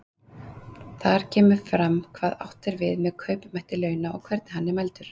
Þar kemur fram hvað átt er við með kaupmætti launa og hvernig hann er mældur.